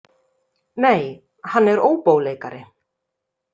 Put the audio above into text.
Nei, hann er óbóleikari.